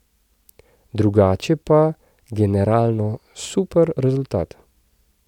Drugače pa generalno super rezultat.